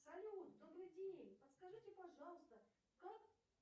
салют добрый день подскажите пожалуйста как